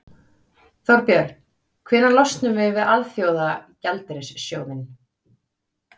Þorbjörn: Hvenær losnum við við Alþjóðagjaldeyrissjóðinn?